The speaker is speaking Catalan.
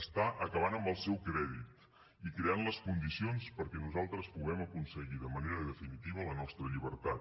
està acabant amb el seu crèdit i creant les condicions perquè nosaltres puguem aconseguir de manera definitiva la nostra llibertat